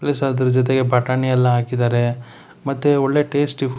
plus ಅದ್ರ ಜೊತೆಗೆ ಬಟಾಣಿಯಲ್ಲ ಹಾಕಿದರೆಮತ್ತೆ ಒಳ್ಳೆ ಟೇಸ್ಟಿ --